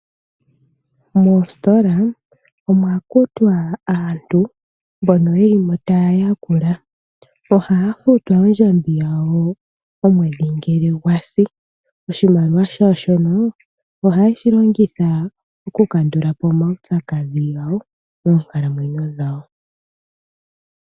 Moositola omwa kutwa aantu mbono ye li mo taya yakula. Ohaya futwa ondjambi yawo omwedhi ngele gwa si. Oshimaliwa shawo shono ohaye shi longitha okukandula po omaupyakadhi gawo moonkalamwenyo dhawo.